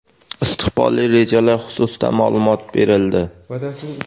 istiqbolli rejalar xususida maʼlumot berildi.